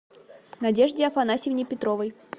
надежде афанасьевне петровой